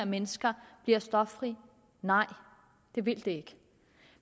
mennesker bliver stoffri nej det vil det ikke